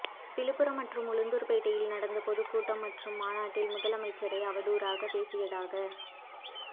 விழுப்புரம் மற்றும் உளுந்தூர்பேட்டையில் நடந்த பொதுக்கூட்டம் மற்றும் மாநாட்டில் முதலமைச்சரை அவதூறாக பேசியதாக